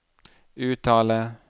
uttale